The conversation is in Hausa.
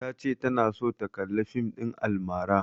Ta ce tana so ta kalla fim ɗin almara.